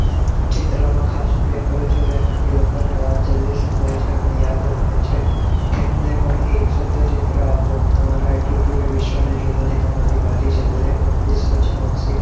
ચિત્રનો ખાસ ઉપયોગ કરું છું તેનાથી લોકોને વાત જલ્દી સમજાય છે અને યાદ રહે છે એમને પણ એક શબ્દ ચિત્ર આપો તમારો attitude એ વિશ્વને જોવાની તમારી બારી છે દરેક વ્યક્તિ સ્વચ્છ માનસિક